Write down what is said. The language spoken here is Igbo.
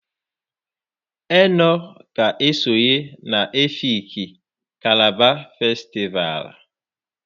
ENO ga-esonye na Efikii/Kalaba kanịval.